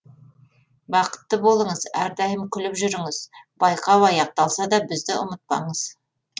бақытты болыңыз әрдайым күліп жүріңіз байқау аяқталса да бізді ұмытпаңыз